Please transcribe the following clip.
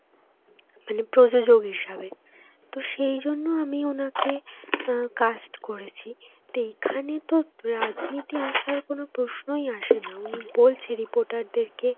মানে প্রযোজক হিসাবে. তো সেই জন্য আমি ওনাকে আঁ cast করেছি. তো এইখানে তো রাজনীতি আসার কোনো প্রশ্নই আসে না. উনি বলছে reporter দের কে